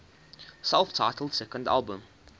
self titled second album